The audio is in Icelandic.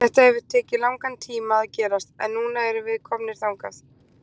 Þetta hefur tekið langan tíma að gerast, en núna erum við komnir þangað.